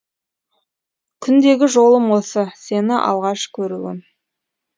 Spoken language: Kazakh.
күндегі жолым осы сені алғаш көруім